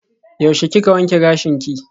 Yaushe kika wanke gashinki?